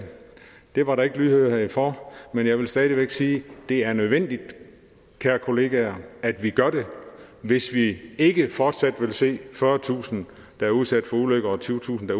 det var der ikke lydhørhed for men jeg vil stadig væk sige det er nødvendigt kære kollegaer at vi gør det hvis vi ikke fortsat vil se fyrretusind der er udsat for ulykker og tyvetusind der